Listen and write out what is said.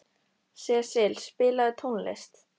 Sesil, spilaðu tónlist.